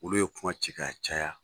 Olu ye kuma ci ka caya